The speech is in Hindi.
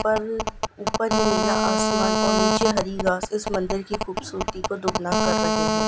पर उपर ये नीला आसमान और नीचे हरी घास इस मंदिर की खूबसूरती को दुगना कर रहे है।